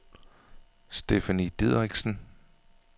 Stephanie Dideriksen